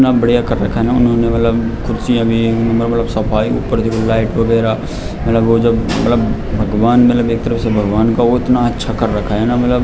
इतना बढ़ियां कर रखा है न उन्होंने मतलब कुर्सियाँ भी मतलब सफाई ऊपर लाइट वगेरा मतलब वो जब मतलब भगवान मतलब एक तरफ से भगवान का वो उतना अच्छा कर रखा है न।